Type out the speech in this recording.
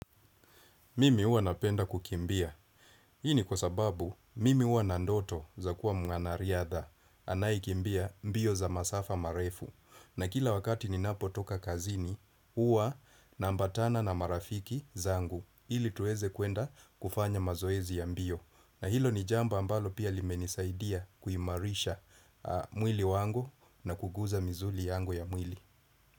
Mimi huwa napenda kukimbia. Hii ni kwa sababu, mimi huwa na ndoto za kuwa mwanariadha. Anayekimbia mbio za masafa marefu. Na kila wakati ninapotoka kazini, huwa naambatana na marafiki zangu. Ili tuweze kuenda kufanya mazoezi ya mbio. Na hilo ni jambo ambalo pia limenisaidia kuimarisha mwili wangu na kuguza misuli yangu ya mwili.